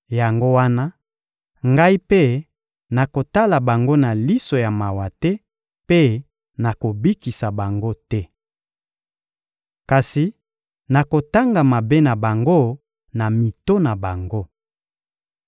Yango wana, Ngai mpe nakotala bango na liso ya mawa te mpe nakobikisa bango te. Kasi nakotanga mabe na bango na mito na bango.